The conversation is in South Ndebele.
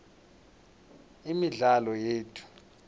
imidlalo yethu